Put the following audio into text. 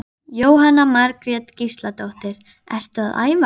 Jóhanna Margrét Gísladóttir: Ertu að æfa?